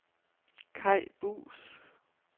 Kai Buus